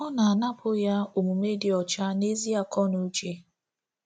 Ọ na-anapụ ya omume dị ọcha na ezi akọ na uche.